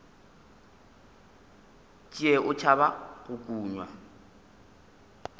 tšee o tšhaba go kunywa